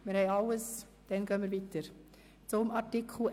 – Dies scheint nicht der Fall zu sein.